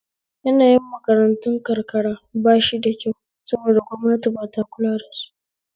Yanayin makarantun karkara bashi da kyau saboda gwamnati ba ta kulawa dasu